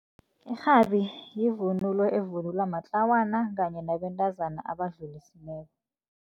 Irhabi yivunulo evunulwa matlawana kanye nabantazana abadlulisileko.